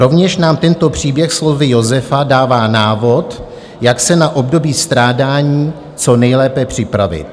Rovněž nám tento příběh slovy Josefa dává návod, jak se na období strádání co nejlépe připravit.